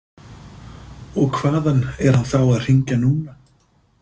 Og hvaðan er hann þá að hringja núna?